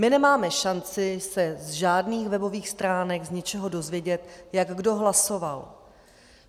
My nemáme šanci se z žádných webových stránek, z ničeho dozvědět, jak kdo hlasoval.